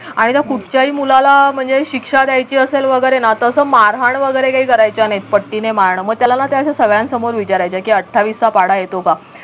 आणि त्या कुठच्याही मुलाला म्हणजे शिक्षा द्यायची असेल वगैरे ना तस मारहाण वगैरे काही करायच्या नाहीत पट्टीने मारण मग त्याला ना त्या अश्या सगळ्यांसमोर विचारायच्या की अठ्ठावीस चा पाढा येतो का